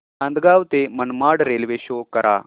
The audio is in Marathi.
नांदगाव ते मनमाड रेल्वे शो करा